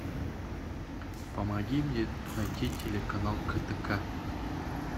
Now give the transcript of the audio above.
помоги мне найти телеканал ктк